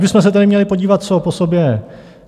Kdybychom se tedy měli podívat, co po sobě...